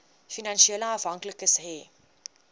finansiële afhanklikes hê